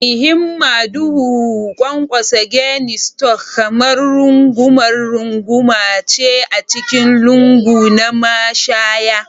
Mai himma duhu, da ƙwanƙwasa Guinness Stout kamar rungumar runguma ce a cikin lungu na mashaya